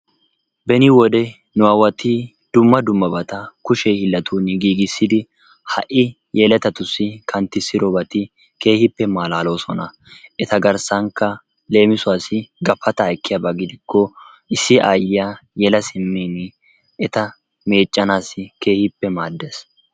beni nu aawati dumma dummabata kushshe hiilanttun giigisidi ha"i yelettatussi kanttisoodobati keehippe malaloosona. eta garssankka leemissuwaasi gafataa ekkiyaaba gidiko issi ayyiyaa yeela siimmin eta meeccanaassi keehippe maaddees.